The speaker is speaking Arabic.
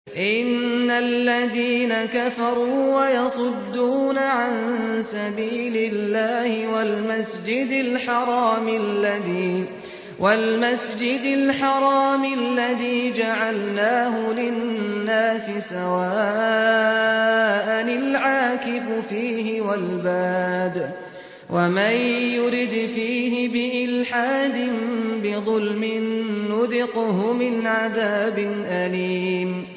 إِنَّ الَّذِينَ كَفَرُوا وَيَصُدُّونَ عَن سَبِيلِ اللَّهِ وَالْمَسْجِدِ الْحَرَامِ الَّذِي جَعَلْنَاهُ لِلنَّاسِ سَوَاءً الْعَاكِفُ فِيهِ وَالْبَادِ ۚ وَمَن يُرِدْ فِيهِ بِإِلْحَادٍ بِظُلْمٍ نُّذِقْهُ مِنْ عَذَابٍ أَلِيمٍ